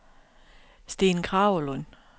Steen Kragelund